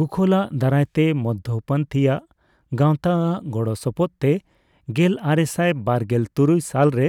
ᱜᱳᱠᱷᱞᱟᱜ ᱫᱟᱨᱟᱭ ᱛᱮ ᱢᱚᱫᱫᱷᱚ ᱯᱚᱱᱛᱷᱤᱭᱟᱜ ᱜᱟᱣᱛᱟ ᱟᱜ ᱜᱚᱲᱚ ᱥᱚᱯᱚᱦᱚᱫ ᱛᱮ ᱜᱮᱞ ᱟᱨᱮᱥᱟᱭ ᱵᱟᱨᱜᱮᱞ ᱛᱩᱨᱩᱭ ᱥᱟᱞᱮ ᱨᱮ